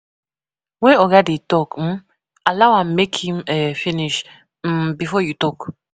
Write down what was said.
When oga dey talk um, allow am make him um finish um before you talk